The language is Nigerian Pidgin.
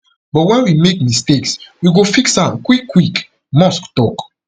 but wen we make mistakes we go fix am quick quick musk tok